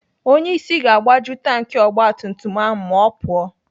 Onyeisi ga-agbaju tanki ogbatumtum ahụ ma ọ pụọ.